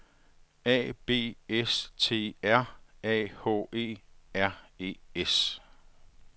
A B S T R A H E R E S